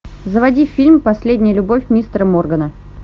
заводи фильм последняя любовь мистера моргана